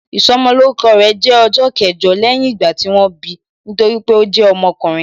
Ìsọmolórúkọ rẹ̀ jẹ́ ọjọ́ kẹjọ lẹ́yìn ìgbà tí wọ́n bi, nítorí pé ó jẹ́ ọkùnrin